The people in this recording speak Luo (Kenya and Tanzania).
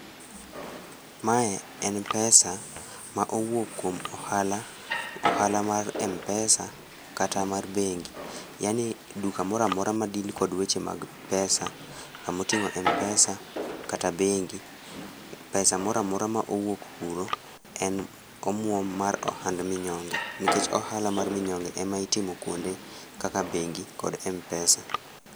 Mae en pesa ma owuok kuom ohala ,ohala mar Mpesa kata mar bengi. Yaani, duka moro amora ma deal kod weche mag pesa kamotingo Mpesa kata bengi. Pesa moro amor ama owuok kuro en omuom mar ohand minyonge nikech ohala mar ohand minyonge ema itimo kuonde kaka bengi kata Mpesa